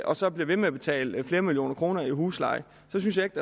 og så bliver ved med at betale flere millioner kroner i husleje så synes jeg ikke